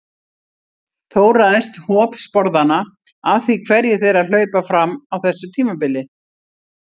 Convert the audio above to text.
Þó ræðst hop sporðanna af því hverjir þeirra hlaupa fram á þessu tímabili.